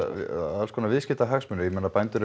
alls konar viðskiptahagsmunir ég meina bændur